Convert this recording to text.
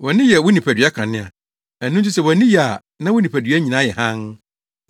“Wʼani yɛ wo nipadua kanea. Ɛno nti sɛ wʼani ye a, na wo nipadua nyinaa yɛ hann.